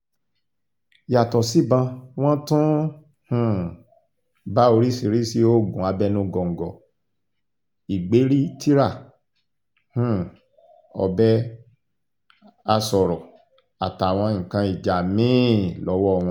yàtọ̀ sí ìbọn wọn tún um bá oríṣìíríṣìí oògùn abẹnugọ̀ńgọ̀ ìgbéríi tira um ọbẹ̀ asọ̀ọ̀rọ̀ àtàwọn nǹkan ìjà mí-ín lọ́wọ́ wọn